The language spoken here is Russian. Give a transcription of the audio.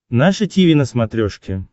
наше тиви на смотрешке